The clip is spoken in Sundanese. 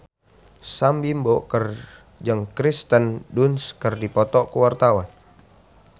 Sam Bimbo jeung Kirsten Dunst keur dipoto ku wartawan